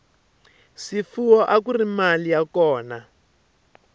swifuwo akuri mali ya kona